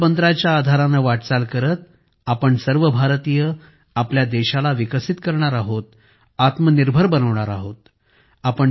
याच मंत्राच्या आधाराने वाटचाल करत आपण सर्व भारतीय आपल्या देशाला विकसित करणार आहोत आत्मनिर्भर बनवणार आहोत